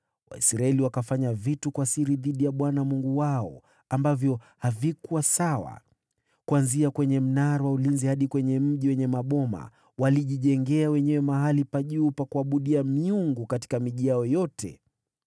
Waisraeli wakafanya vitu kwa siri dhidi ya Bwana Mungu wao, ambavyo havikuwa sawa. Kuanzia kwenye mnara wa ulinzi hadi kwenye mji wenye maboma walijijengea wenyewe mahali pa juu pa kuabudia miungu katika miji yao yote.